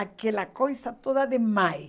Aquela coisa toda de mãe.